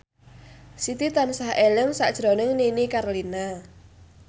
Siti tansah eling sakjroning Nini Carlina